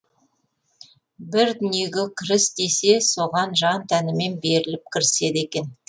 бір дүниеге кіріс десе соған жан тәнімен беріліп кіріседі екен